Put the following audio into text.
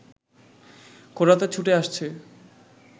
খোঁড়াতে ছুটে আসছে